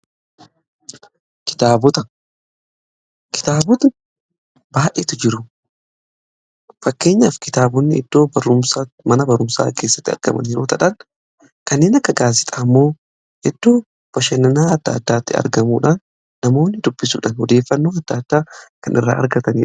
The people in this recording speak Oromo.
Kitaabota baay'eetu jiru. Fakkeenyaaf kitaabonni iddoo mana barumsaa keessatti argaman Yeroo ta'an kanneen akka gaazexaa immoo eddoo bashannanaa adda addaatti argamuudhaan namoonni dubbisuudhan odeeffannoo adda addaa kan irraa argatanidha.